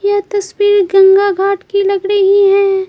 यह तस्वीर गंगा घाट की लग रही है।